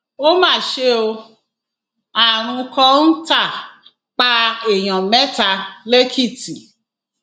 ó mà ṣe ó àrùn kọńtà pa èèyàn mẹta lẹkìtì